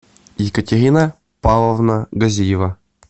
екатерина павловна газиева